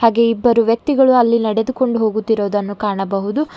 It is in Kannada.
ಹಾಗೆ ಇಬ್ಬರು ವ್ಯಕ್ತಿಗಳು ಅಲ್ಲಿ ನಡೆದುಕೊಂಡು ಹೋಗುತ್ತಿರೊದನ್ನು ಕಾಣಬಹುದು.